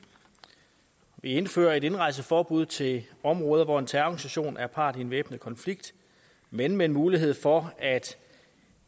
indfører et indrejseforbud til områder hvor en terrororganisation er part i en væbnet konflikt men med en mulighed for at